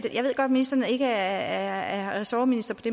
ministeren ikke er ressortminister